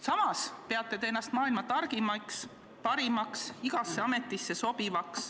Samas peate ennast maailma targimaks, parimaks, igasse ametisse sobivaks.